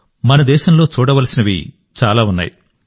మన దేశంలో చూడవలసినవి చాలా ఉన్నాయి